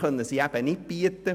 könne man mir nicht bieten.